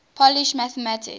polish mathematicians